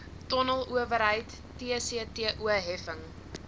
tonnelowerheid tcto heffing